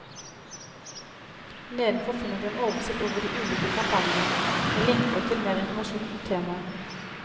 Nedenfor finner du en oversikt over de ulike kampanjene, med linker til mer informasjon om temaet.